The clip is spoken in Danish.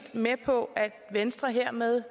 med på at venstre hermed